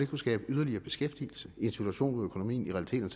kunne skabe yderligere beskæftigelse i en situation hvor økonomien i realiteten